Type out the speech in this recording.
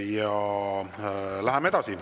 Ja läheme edasi.